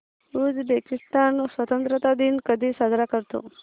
Uzbekistan स्वतंत्रता दिन कधी साजरा करतो